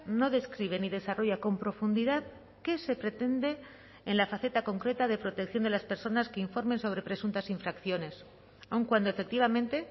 no describe ni desarrolla con profundidad qué se pretende en la faceta concreta de protección de las personas que informen sobre presuntas infracciones aun cuando efectivamente